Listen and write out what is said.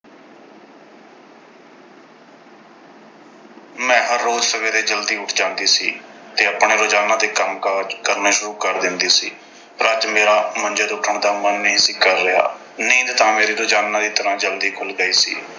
ਮੈਂ ਹਰ ਰੋਜ਼੍ਹ ਸਵੇਰੇ ਜਲਦੀ ਉੱਠ ਜਾਂਦੀ ਸੀ ਤੇ ਆਪਣੇ ਰੋਜ਼ਾਨਾ ਦੇ ਕੰਮਕਾਜ ਕਰਨੇ ਸ਼ੁਰੂ ਕਰ ਦਿੰਦੀ ਸੀ। ਪਰ ਅੱਜ ਮੇਰਾ ਮੰਜੇ ਤੋਂ ਉੱਠਣ ਨੂੰ ਮਨ ਨਹੀਂ ਸੀ ਕਰ ਰਿਹਾ। ਨੀਂਦ ਤਾਂ ਮੇਰੀ ਰੋਜ਼ਾਨਾ ਦੀ ਤਰ੍ਹਾਂ ਜਲਦੀ ਖੁੱਲ੍ਹ ਗਈ ਸੀ।